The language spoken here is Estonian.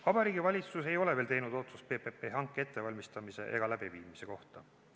Vabariigi Valitsus ei ole veel teinud otsust PPP-hanke ettevalmistamise ega läbiviimise kohta.